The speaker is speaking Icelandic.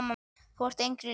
Þú ert engri lík.